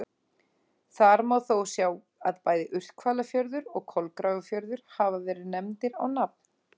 Þar má þó sjá að bæði Urthvalafjörður og Kolgrafafjörður hafa verið nefndir á nafn.